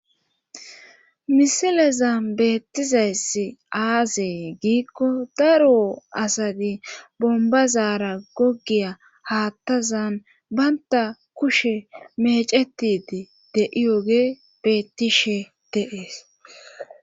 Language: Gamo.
Misileza beettizayssi aazee giikko daruo asati bombazaara goggiya haattazan baynta kushe mecetidi deiyoge beettishe deees